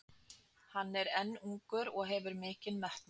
Hann er enn ungur og hefur mikinn metnað.